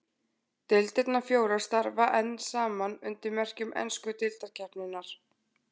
Deildirnar fjórar starfa enn saman undir merkjum ensku deildarkeppninnar.